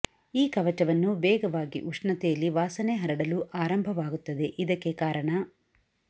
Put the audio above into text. ಈ ಕವಚವನ್ನು ವೇಗವಾಗಿ ಉಷ್ಣತೆಯಲ್ಲಿ ವಾಸನೆ ಹರಡಲು ಆರಂಭವಾಗುತ್ತದೆ ಇದಕ್ಕೆ ಕಾರಣ